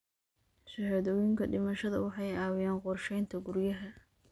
Shahaadooyinka dhimashada waxay caawiyaan qorsheynta guryaha.